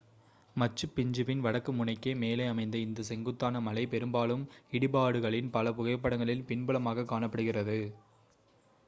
மச்சு பிச்சுவின் வடக்கு முனைக்கு மேலே அமைந்த இந்த செங்குத்தான மலை பெரும்பாலும் இடிபாடுகளின் பல புகைப்படங்களில் பின்புலமாக காணப்படுகிறது